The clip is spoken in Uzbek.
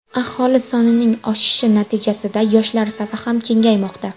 Aholi sonining oshishi natijasida yoshlar safi ham kengaymoqda.